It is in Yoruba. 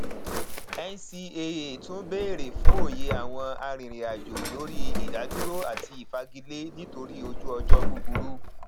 ncaa tún béèrè fún òye àwọn arìnrìnàjò lórí ìdádúró àti ìfagilé nítorí ojú ọjọ búburú